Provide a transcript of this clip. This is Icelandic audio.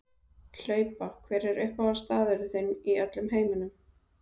Hlaupa Hver er uppáhaldsstaðurinn þinn í öllum heiminum?